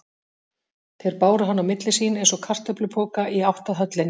Þeir báru hann á milli sín, eins og kartöflupoka, í átt að höllinni.